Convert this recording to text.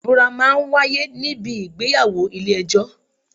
Ìbúra máa ń wáyé ní bi ìgbéyàwó ilé ẹjọ́.